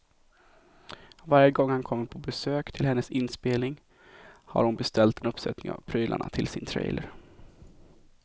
Varje gång han kommer på besök till hennes inspelning har hon beställt en uppsättning av prylarna till sin trailer.